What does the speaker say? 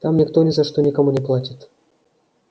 там никто ни за что никому не платит